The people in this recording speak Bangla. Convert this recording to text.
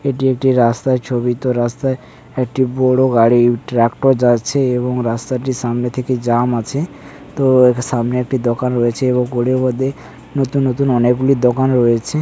এটি একটি রাস্তায় ছবি তো রাস্তায় একটি বড় গাড়ি ট্রাক্টর যাচ্ছে এবং রাস্তাটির সামনে থেকে জাম আছে তো সামনে একটি দোকান রয়েছে এবং করে নতুন নতুন অনেকগুলি দোকান রয়েছে।